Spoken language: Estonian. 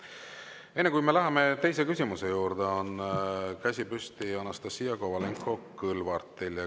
Enne, kui me läheme teise küsimuse juurde, vaatan, et käsi on püsti Anastassia Kovalenko-Kõlvartil.